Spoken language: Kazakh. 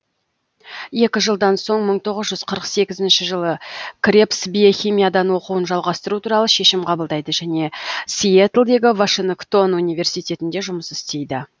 екі жылдан соң мың тоғыз жүз қырық сегізінші жылы кребс биохимиядан оқуын жалғастыру туралы шешім қабылдайды және сиэтлдегі вашингтон университетінде жұмыс істейді